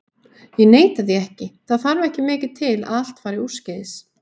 Ég neita því ekki, það þarf ekki mikið til að allt fari úrskeiðis.